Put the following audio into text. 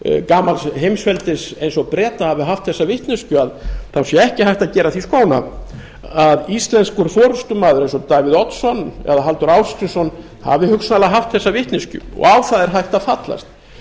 gamals heimsveldis eins og breta hafi haft þessa vitneskju þá sé ekki hægt að gera því skóna að íslenskur forustumaður eins og davíð oddsson eða halldór ásgrímsson hafi hugsanlega haft þessa vitneskju og á það er hægt að fallast